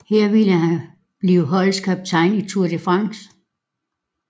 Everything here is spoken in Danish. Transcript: Her ville han blive holdets kaptajn i Tour de France